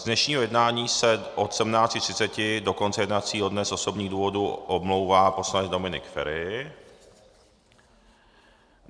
Z dnešního jednání se od 17.30 do konce jednacího dne z osobních důvodů omlouvá poslanec Dominik Feri.